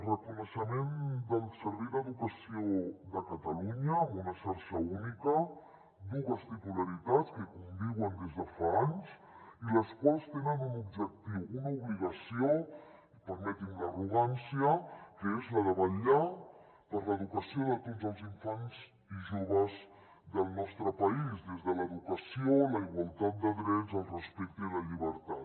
reconeixement del servei d’educació de catalunya amb una xarxa única dues titularitats que conviuen des de fa anys i les quals tenen un objectiu una obligació permeti’m l’arrogància que és la de vetllar per l’educació de tots els infants i joves del nostre país des de l’educació la igualtat de drets el respecte i la llibertat